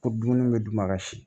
Ko dumuni bɛ d'u ma ka si